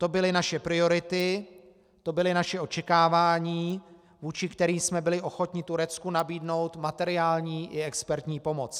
To byly naše priority, to byla naše očekávání, vůči kterým jsme byli ochotni Turecku nabídnout materiální i expertní pomoc.